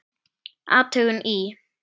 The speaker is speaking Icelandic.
Athugun í